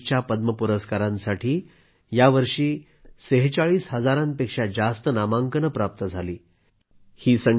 2020च्या पद्म पुरस्कारांसाठी यावर्षी 46 हजारांपेक्षा जास्त नामांकने प्राप्त झाली